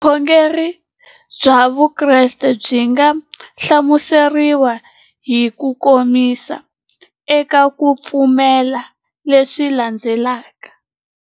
Vukhongeri bya Vukreste byi nga hlamuseriwa hi kukomisa eka ku pfumela leswi landzelaka.